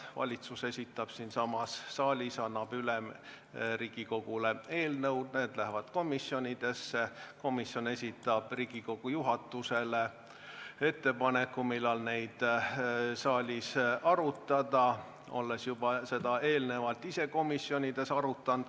Valitsus esitab siinsamas saalis Riigikogule eelnõud, need lähevad komisjonidesse, komisjonid esitavad Riigikogu juhatusele ettepaneku, millal neid saalis arutada, olles seda teemat juba eelnevalt ise arutanud.